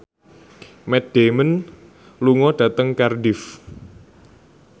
Matt Damon lunga dhateng Cardiff